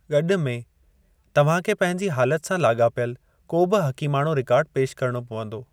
गॾु में, तव्हांखे पंहिंजी हालात सां लाॻापियलु को बि हकीमाणो रिकार्डु पेशि करणो पवंदो।